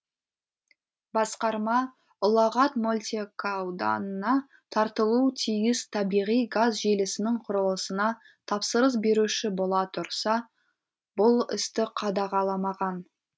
басқарма ұлағат мөлтекауданына тартылуы тиіс табиғи газ желісінің құрылысына тапсырыс беруші бола тұрса бұл істі қадағаламаған